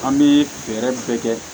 An bɛ fɛɛrɛ bɛɛ kɛ